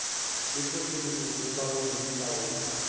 le tlhohleletšopolaong ye ka go